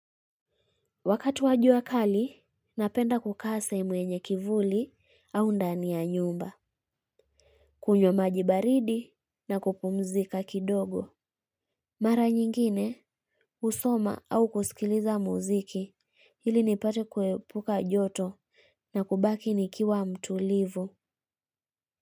Wakati wa jua kali, napenda kukaa sehemu yenye kivuli au ndani ya nyumba. Kunywa maji baridi na kupumzika kidogo. Mara nyingine, husoma au kusikiliza muziki, ili nipate kuepuka joto na kubaki nikiwa mtulivu.